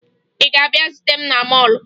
Ị ga-abịa zute m na mọọlụ?